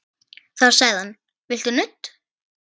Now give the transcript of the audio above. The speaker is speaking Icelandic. Þá sagði hann: Viltu nudd?